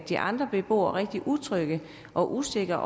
de andre beboere rigtig utrygge og usikre